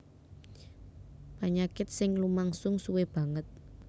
Panyakit sing lumangsung suwé banget